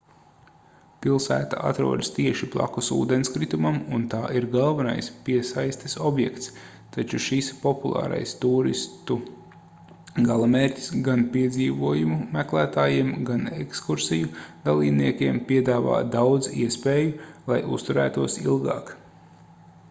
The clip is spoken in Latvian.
pilsēta atrodas tieši blakus ūdenskritumam un tā ir galvenais piesaistes objekts taču šis populārais tūristu galamērķis gan piedzīvojumu meklētājiem gan ekskursiju dalībniekiem piedāvā daudz iespēju lai uzturētos ilgāk